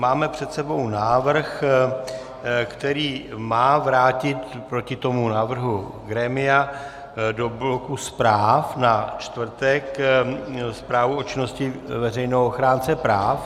Máme před sebou návrh, který má vrátit proti tomu návrhu grémia do bloku zpráv na čtvrtek Zprávu o činnosti veřejného ochránce práv.